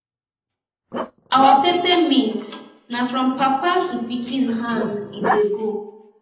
our peppermint na from papa to pikin hand e dey go